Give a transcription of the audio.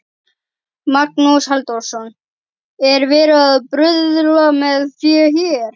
Magnús Halldórsson: Er verið að bruðla með fé hér?